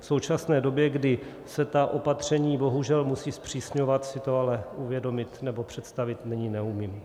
V současné době, kdy se ta opatření bohužel musí zpřísňovat, si to ale uvědomit nebo představit nyní neumím.